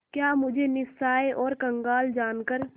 क्या मुझे निस्सहाय और कंगाल जानकर